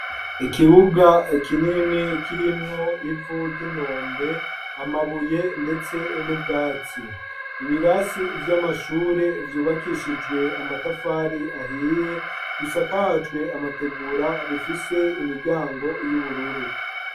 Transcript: Ikibuga kinini kirimwo ivu ry'inombe, amabuye, ndetse n'ubwatsi. Ibirasi vy'amashure vyubakishijwe amatafari ahiye bishakajwe amategura bifise imiryango y'ubururu.